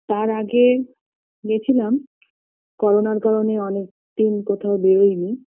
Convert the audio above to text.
তার আগে গেছিলাম করোনার কারণে অনেক দিন কোথাও বেরোইনি